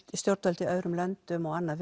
stjórnvöld í öðrum löndum og annað